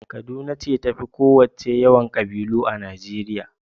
Kaduna ce ta fi ƙowacce yawan ƙabilu a Najeriya.